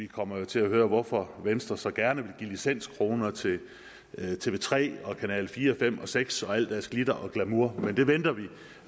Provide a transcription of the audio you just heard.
kommer til at høre hvorfor venstre så gerne vil give licenskroner til tv3 og kanal fire fem og seks og alt deres glitter og glamour men det venter vi